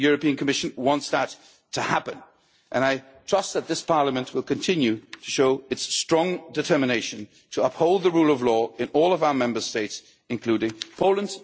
The Commission wants that to happen and I trust that this Parliament will continue to show its strong determination to uphold the rule of law in all of our Member States, including Poland.